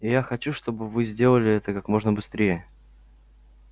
и я хочу чтобы вы сделали это как можно быстрее